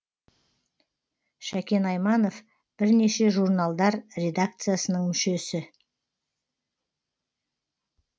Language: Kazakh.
шәкен айманов бірнеше журналдар редакциясының мүшесі